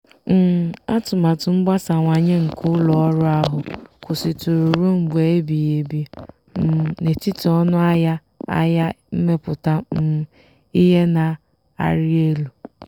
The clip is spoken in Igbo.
ọnọdụ nkwụghachi ụgwọ ụlọ ọrụ ahụ um mere ka ndị na-etinye ego na-enweta uru kwa ọnwa atọ ọbụla na-agbanweghi agbanwe n'usoro a kapịrị ọnụ.